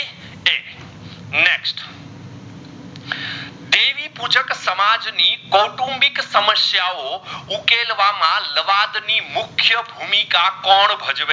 સમાજ ની કૌટુંબિક સામાસિયો ઉકેલવામાં લવાદ ની મુખ્ય ભૂમિકા કોણ ભજવે